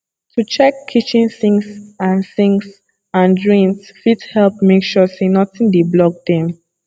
to check kitchen sinks and sinks and drains fit help make sure say nothing dey block dem